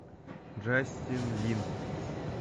джастин лин